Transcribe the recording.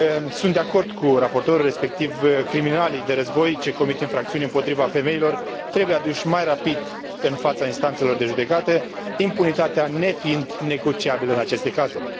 Sunt de acord cu raportorul, respectiv criminalii de război ce comit infracțiuni împotriva femeilor trebuie aduși mai rapid în fața instanțelor de judecată, impunitatea nefiind negociabilă în aceste cazuri.